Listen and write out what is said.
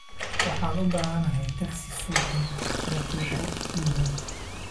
Waxaan u baahanahay taksi soddon daqiiqo gudahood